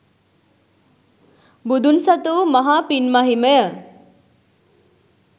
බුදුන් සතු වූ මහා පින් මහිමය